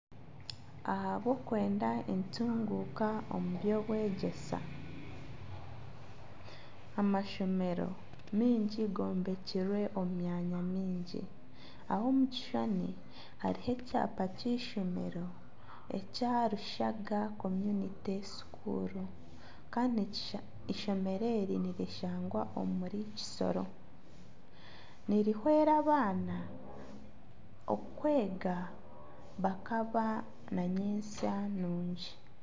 Ahabwokwenda entunguka omu by'obwegyese, amashomero mingi gombekirwe omu myanya mingi. Aha omu kishushani hariho ekyapa ky'eishomero ekya Rushaka community school kandi ishomero eri nirishangwa omuri kisoro. Nirihwera abaana okwega bakaba nanyensya nungi.